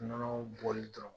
Nɔnɔ bɔli ta